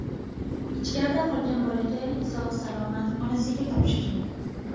Ichkarida qolgan bolakay sog‘-salomat onasiga topshirildi.